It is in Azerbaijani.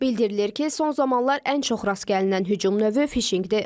Bildirilir ki, son zamanlar ən çox rast gəlinən hücum növü fişinqdir.